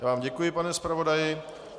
Já vám děkuji, pane zpravodaji.